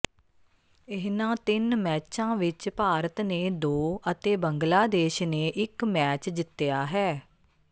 ਇਨ੍ਹਾਂ ਤਿੰਨ ਮੈਚਾਂ ਵਿਚ ਭਾਰਤ ਨੇ ਦੋ ਅਤੇ ਬੰਗਲਾਦੇਸ਼ ਨੇ ਇਕ ਮੈਚ ਜਿੱਤਿਆ ਹੈ